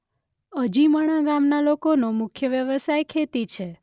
અજીમણા ગામના લોકોનો મુખ્ય વ્યવસાય ખેતી છે.